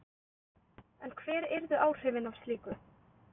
En hver yrðu áhrifin af slíku?